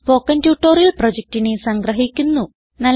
ഇതു spoken tutorial പ്രൊജക്റ്റിനെ സംഗ്രഹിക്കുന്നു